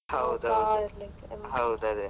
ಹೌದು. ಅದೆ